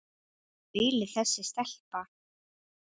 Meiri aulinn þessi stelpa.